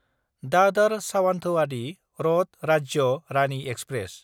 दादार सावान्थोआदि रद राज्य रानि एक्सप्रेस